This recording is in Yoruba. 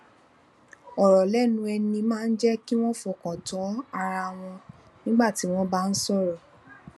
òrò lénu ẹni máa ń jé kí wón fọkàn tán ara wọn nígbà tí wón bá ń sòrò